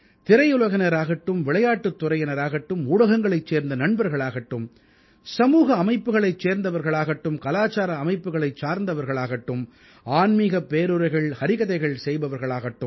திரையுலகினர் ஆகட்டும் விளையாட்டுத் துறையினராகட்டும் ஊடகங்களைச் சேர்ந்த நண்பர்களாகட்டும் சமூக அமைப்புக்களைச் சேர்ந்தவர்களாகட்டும் கலாச்சார அமைப்புக்களைச் சேர்ந்தவர்களாகட்டும் ஆன்மீகப் பேருரைகள் ஹரிகதைகள் செய்பவர்களாகட்டும்